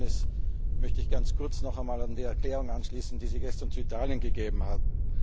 Mit Ihrer Erlaubnis möchte ich ganz kurz noch einmal an die Erklärung anschließen, die Sie gestern zu Italien abgegeben haben.